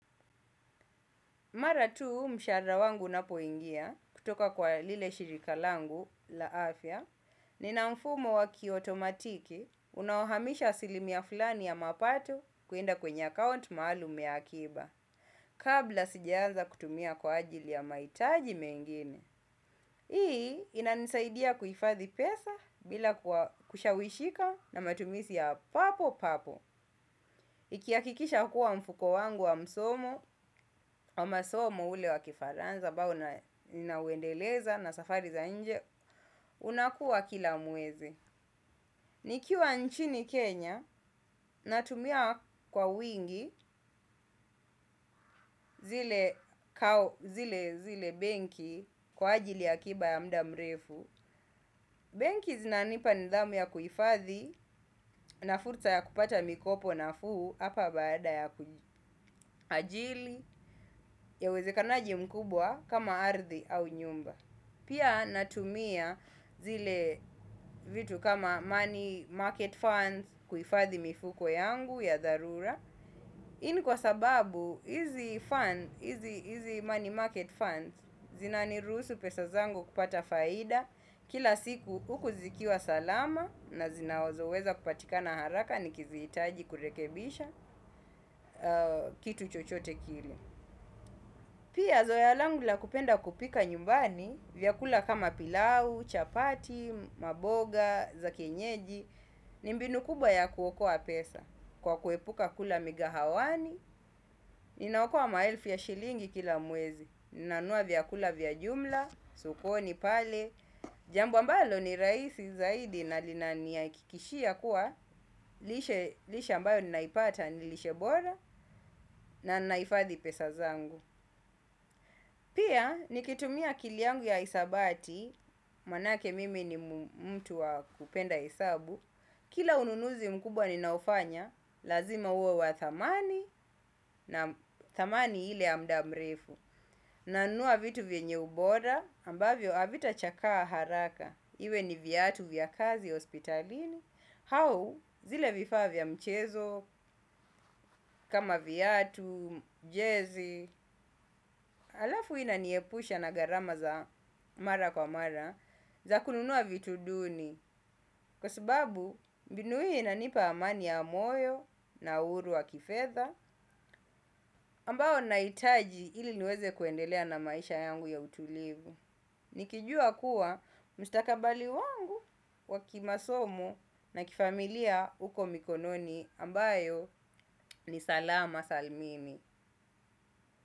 Maratu mshahara wangu unapo ingia kutoka kwa lile shirika langu la afya nina mfumo wakiotomatiki unaohamisha asilimia fulani ya mapato kuenda kwenye account maalum ya akiba kabla sijaanza kutumia kwa ajili ya mahitaji mengine. Hii ina nisaidia kuifadhi pesa bila kushawishika na matumizi ya papo papo. Ikiakikisha kuwa mfuko wangu wa msomo wa masomo ule wa kifaranza ambao nina uendeleza na safari za nje, unakua kila muwezi. Nikiwa nchini Kenya, natumia kwa wingi zile benki kwa ajili ya akiba ya mda mrefu. Banki zinanipa nidhamu ya kuifathi na fursa ya kupata mikopo nafuu. Hapa baada ya kuajili ya wezekanaji mkubwa kama ardhi au nyumba. Pia natumia zile vitu kama money market funds kuifathi mifuko yangu ya dharura hii ni kwa sababu hizi money market funds zinaniruhusu pesa zangu kupata faida. Kila siku huku zikiwa salama na zinazo weza kupatikana haraka ni kiziitaji kurekebisha kitu chochote kile. Pia zoea langu la kupenda kupika nyumbani vyakula kama pilau, chapati, mboga za kienyeji ni mbinu kubwa ya kuokoa pesa kwa kuepuka kula migawani inaokoa ma elfu ya shilingi kila mwezi. Nanunua vyakula vya jumla, sokoni pale, jambo ambalo ni rahisi zaidi na lina niakikishia kuwa lisha ambayo ninaipata nilishe bora na naifathi pesa zangu. Pia nikitumia akili yangu ya hisabati, manake mimi ni mtu wa kupenda hesabu. Kila ununuzi mkubwa ninaofanya, lazima uwe wa thamani na thamani hile ya mda mrefu nanunua vitu vyenye ubora ambavyo havitachakaa haraka iwe ni viatu vya kazi hospitalini. Au zile vifavaa vya mchezo kama viatu, jezi. Alafu ina niepusha na gharama za mara kwa mara za kununua vitu duni. Kwa subabu mbinu hii inanipa amani ya moyo na huru wa kifedha. Ambao naitaji ili niweze kuendelea na maisha yangu ya utulivu. Nikijua kuwa mstakabali wangu wa kimasomo na kifamilia uko mikononi ambayo ni salama salmini.